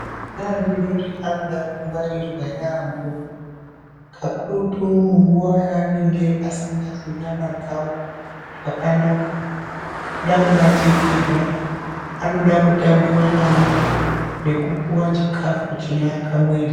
Ana adori-dori anoda kungwarirwa yaambo, kakurutu panguva yaanenge asingazwi nyama dzawo zvakanaka, anoda kubatikirwa, anoda kutambiwa nawo nekupuwa chikafu chinoaka muviri.